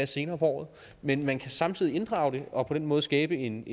senere på året men man kan samtidig inddrage det og på den måde skabe en